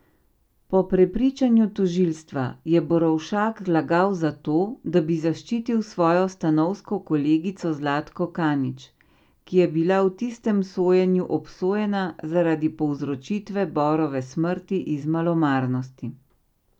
Po prepričanju tožilstva je Borovšak lagal zato, da bi zaščitil svojo stanovsko kolegico Zlatko Kanič, ki je bila v tistem sojenju obsojena zaradi povzročitve Borove smrti iz malomarnosti.